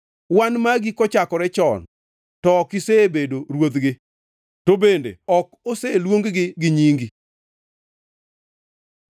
Wan magi kochakore chon to ok isebedo ruodhgi, to bende ok oseluong-gi gi nyingi.